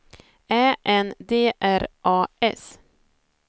Ä N D R A S